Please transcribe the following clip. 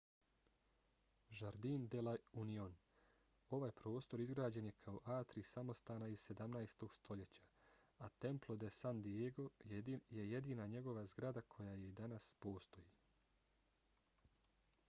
jardín de la unión. ovaj prostor izgrađen je kao atrij samostana iz 17. stoljeća a templo de san diego je jedina njegova zgrada koja i danas postoji